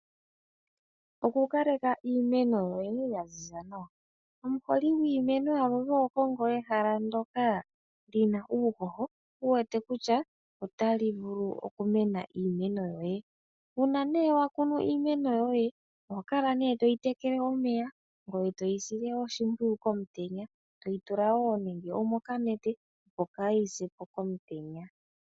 Okukaleka iimeno yoye ya ziza nawa. Omukoli gwiimeno aluhe oho kongo ehala ndyoka li na uuhoho wu wete kutya otali vulu okumena iimeno yoye. Uuna nee wa kunu iimeno yoye oho kala nee toyi tekele omeya ngoye toyi sile oshimpwiyu komutenya toyi tula wo nenge omokanete opo kayi se po komutenya.